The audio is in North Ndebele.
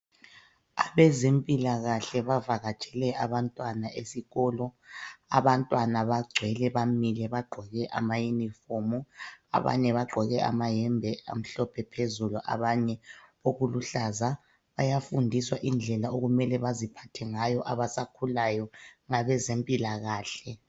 Abezempilakahle bavakatshele abantwana esikolo, abantwana bagcwele bamile bagqoke ama yunifomu abanye bagqoke amayembe amhlophe phezulu, abanye okuluhlaza bayafundiswa indlela okumele beziphathe ngayo abasakhulayo ngabe zempilakahle.